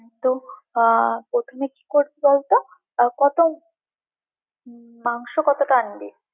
তো আহ প্রথমে কি করবি বল তো আহ কত মাংস কতটা আনবি।